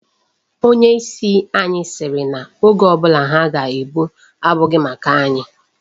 Onye isi anyị sịrị na oge ọ bụla ha ga-egbu abụghị mkpa anyị.